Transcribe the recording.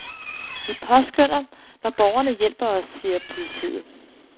Vi påskønner, når borgerne hjælper os, siger politiet.